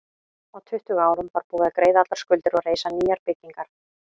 Á tuttugu árum var búið að greiða allar skuldir og reisa nýjar byggingar.